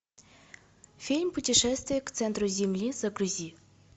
фильм путешествие к центру земли загрузи